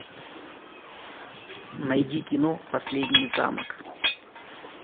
найди кино последний замок